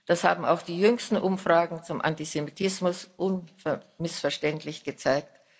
Das haben auch die jüngsten Umfragen zum Antisemitismus unmissverständlich gezeigt.